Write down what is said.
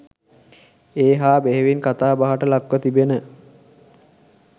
ඒ හා බෙහෙවින් කතාබහට ලක්ව තිබෙන